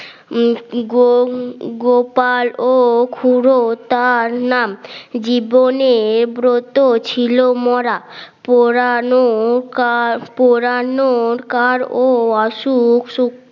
উম গোপাল ও খুড়োতার নাম জীবনের ব্রত ছিল মোরা, পুরানো পোড়ানোর কার ও আসুক